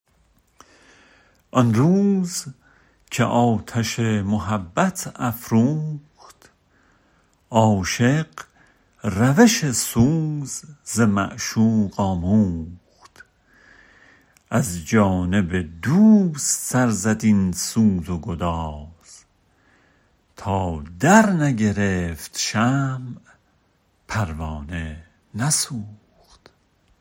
آن روز که آتش محبت افروخت عاشق روش سوز ز معشوق آموخت از جانب دوست سر زد این سوز و گداز تا درنگرفت شمع پروانه نسوخت